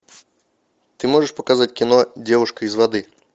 ты можешь показать кино девушка из воды